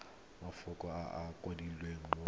mafoko a a kwadilweng mo